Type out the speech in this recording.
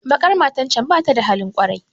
Baƙar matar can bata da halin kwarai